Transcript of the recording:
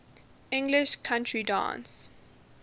english country dance